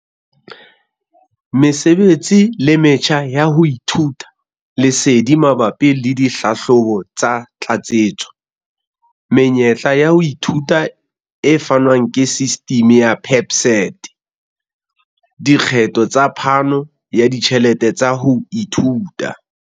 Mesebetsi le metjha ya ho ithuta. Lesedi mabapi le dihlahlobo tsa tlatsetso. Menyetla ya ho ithuta e fanwang ke sistimi ya PSET. Dikgetho tsa phano ya ditjhelete tsa ho ithuta.